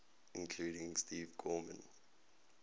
including steve gorman